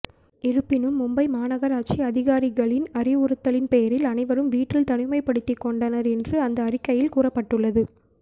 இருப்பினும் மும்பை மாநகராட்சி அதிகாரிகளின் அறிவுறுத்தலின்பேரில் அனைவரும் வீட்டில் தனிமைப்படுத்தி கொண்டனர் என்று அந்த அறிக்கையில் கூறப்பட்டுள்ளது